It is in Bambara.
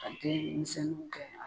Ka den misɛnninw kɛ